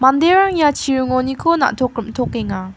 manderanga ia chiringoniko na·tok rim·tokenga.